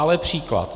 Ale příklad.